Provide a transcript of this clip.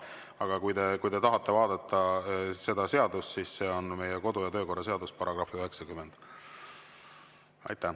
Aga kui te tahate vaadata seadust, siis see on meie kodu- ja töökorra seaduse § 90.